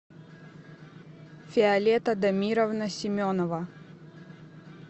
виолетта дамировна семенова